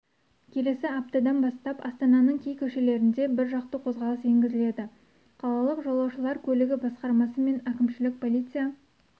келесі аптадан бастап астананың кей көшелерінде біржақты қозғалыс енгізіледі қалалық жолаушылар көлігі басқармасы мен әкімшілік полиция